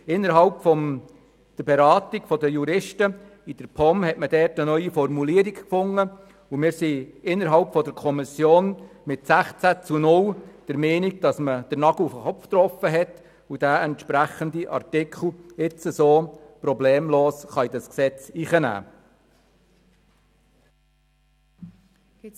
Die Juristen der POM haben im Rahmen unserer Beratung eine neue Formulierung gefunden, und die Kommission ist mit 16 Ja- gegen 0 Nein-Stimmen der Meinung, dass man damit den Nagel auf den Kopf getroffen hat und diesen geänderten Buchstaben problemlos so ins Gesetz aufnehmen kann.